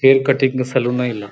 Hair cutting salon ಎಲ್ಲಾ.